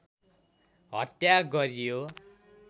हत्या गरियो